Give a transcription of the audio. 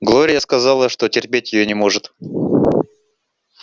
глория сказала что терпеть её не может